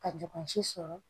Ka jɔ ka si sɔrɔ